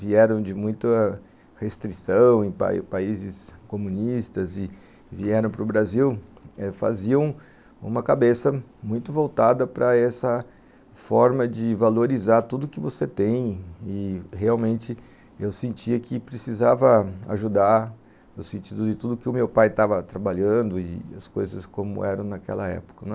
vieram de muita restrição em países comunistas e vieram para o Brasil eh faziam uma cabeça muito voltada para essa forma de valorizar tudo que você tem e realmente eu sentia que precisava ajudar no sentido de tudo que o meu pai estava trabalhando e as coisas como eram naquela época.